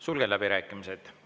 Sulgen läbirääkimised.